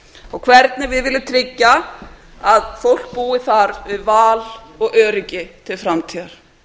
og hvernig við viljum tryggja að fólk búi þar við val og öryggi til framtíðar